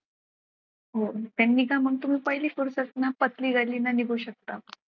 त्यांनी काय म्हणतो मग पहिली फुरसत न पतली गली न निघू शकतं.